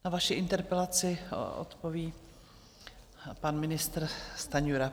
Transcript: Na vaši interpelaci odpoví pan ministr Stanjura.